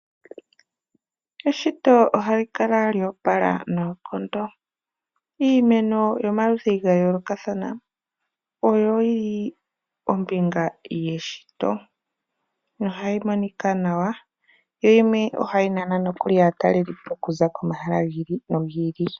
Eshito ohali kala lya opala noonkondo. Iimeno yomaludhi ga yoolokathana oyo yi li ombinga yeshito, nohayi monika nawa. Yimwe yomuyo nokuli ohayi nana aatalelipo okuza komahala gi ili nogi ili.